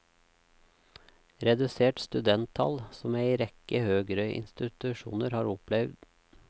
Redusert studenttall som ei rekke høgre institusjonar har opplevd dei siste par åra, medfører mindre pengar.